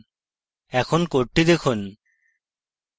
এখন code দেখুন